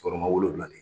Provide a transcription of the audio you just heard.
Tɔɔrɔ ma wolonwula ni